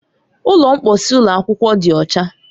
Ụlọ mposi ụlọ akwụkwọ dị ọcha.